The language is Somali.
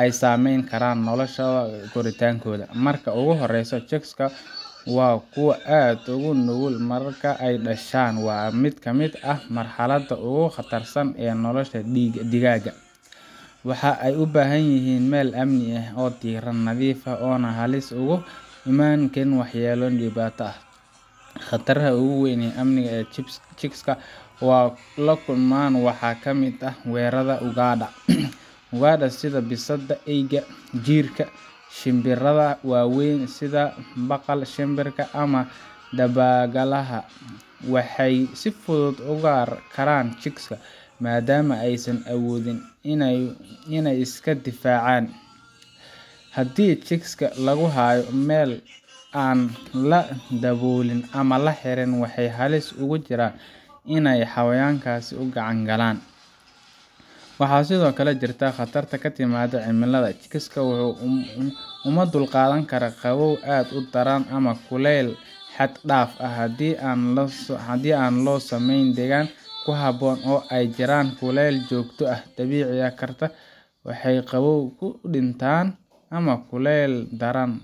ay saameyn karaan noloshooda iyo koritaankooda. Marka ugu horreysa, Chicks-ka waa kuwo aad u nugul marka ay dhashaan, waana mid ka mid ah marxaladaha ugu khatarsan ee nolosha digaagga. Waxa ay u baahan yihiin meel ammaan ah, diirran, nadiif ah oo aanay halis uga imaan waxyeellooyin dibadda ah. Khataraha ugu weyn ee amni ee Chicks-ku la kulmaan waxaa ka mid ah weerarrada ugaadha. Ugaadha sida bisadaha, eyda, jiirka, shinbiraha waaweyn sida baqal-shimbirka ama dabagaalaha, waxay si fudud u ugaarsan karaan Chicks-ka, maadaama aysan awood u lahayn inay iska difaacaan. Haddii chicks-ka lagu hayo meel aan la daboolin ama la xirin, waxay halis ugu jiraan in xayawaankaasi u gacan galaan. Waxaa sidoo kale jirta khatarta ka timaadda cimilada. Chicks-ka uma dulqaadan karaan qabow aad u daran ama kulayl xad dhaaf ah. Haddii aan loo samayn deegaanka ku habboon oo ay ku jiraan kulayl joogto ah, waxaa dhici karta inay qabow u dhintaan ama kulayl daran .